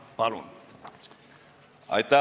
Palun!